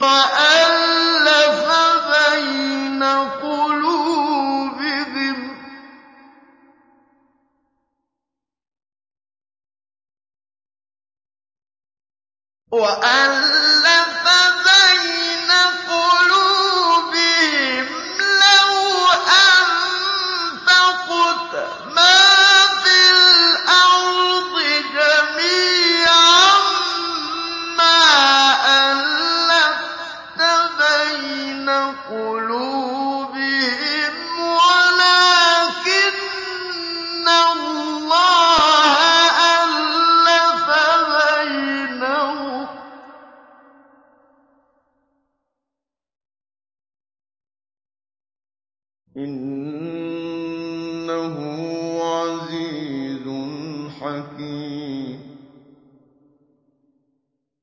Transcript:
وَأَلَّفَ بَيْنَ قُلُوبِهِمْ ۚ لَوْ أَنفَقْتَ مَا فِي الْأَرْضِ جَمِيعًا مَّا أَلَّفْتَ بَيْنَ قُلُوبِهِمْ وَلَٰكِنَّ اللَّهَ أَلَّفَ بَيْنَهُمْ ۚ إِنَّهُ عَزِيزٌ حَكِيمٌ